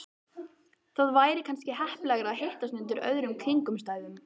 Það væri kannski heppilegra að hittast undir öðrum kringumstæðum